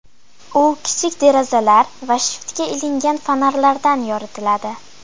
U kichik derazalar va shiftga ilingan fonarlardan yoritiladi.